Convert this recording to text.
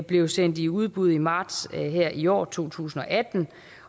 blev sendt i udbud i marts i år to tusind og atten